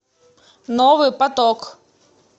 новый поток